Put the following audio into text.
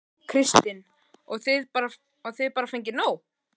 Kristinn: Og þið bara fengið nóg?